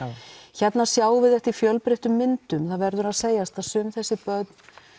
hérna sjáum við þetta í fjölbreyttum myndum það verður að segjast að sum þessi börn